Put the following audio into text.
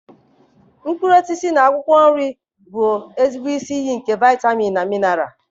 Mkpụrụ osisi na akwụkwọ nri bụ ezigbo isi iyi nke vitamin na minaral.